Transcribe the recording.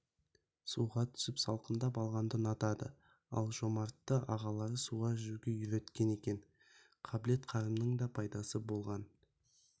суға түсіп салқындап алғанды ұнатады ал жомартты ағалары суға жүзуге үйреткен екен қабілет-қарымның пайдасы болған